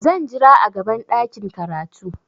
Zan jira a gaban ɗakin karatu.